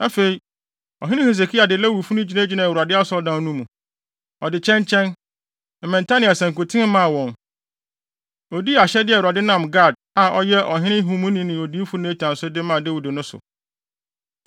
Afei, ɔhene Hesekia de Lewifo no gyinagyinaa Awurade Asɔredan no mu. Ɔde kyɛnkyɛn, mmɛnta ne asankuten maa wɔn. Odii ahyɛde a Awurade nam Gad, a ɔyɛ ɔhene nhumuni ne odiyifo Natan so de maa Dawid no so.